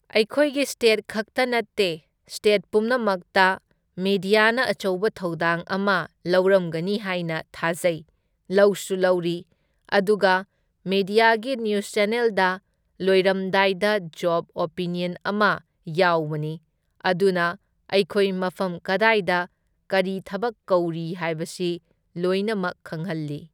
ꯑꯩꯈꯣꯏꯒꯤ ꯁ꯭ꯇꯦꯠ ꯈꯛꯇ ꯅꯠꯇꯦ, ꯁ꯭ꯇꯦꯠ ꯄꯨꯝꯅꯃꯛꯇ ꯃꯦꯗꯤꯌꯥꯅ ꯑꯆꯧꯕ ꯊꯧꯗꯥꯡ ꯑꯃ ꯂꯧꯔꯝꯒꯅꯤ ꯍꯥꯢꯅ ꯊꯥꯖꯩ, ꯂꯧꯁꯨ ꯂꯧꯔꯤ ꯑꯗꯨꯒ ꯃꯦꯗꯤꯌꯥꯒꯤ ꯅ꯭ꯌꯨꯁ ꯆꯦꯟꯅꯦꯜꯗ ꯂꯣꯏꯔꯝꯗꯥꯏꯗ ꯖꯣꯕ ꯑꯣꯄꯤꯅ꯭ꯌꯟ ꯑꯃ ꯌꯥꯎꯕꯅꯤ, ꯑꯗꯨꯅ ꯑꯩꯈꯣꯏ ꯃꯐꯝ ꯀꯗꯥꯢꯗ ꯀꯔꯤ ꯊꯕꯛ ꯀꯧꯔꯤ ꯍꯥꯏꯕꯁꯤ ꯂꯣꯏꯅꯃꯛ ꯈꯪꯍꯜꯂꯤ꯫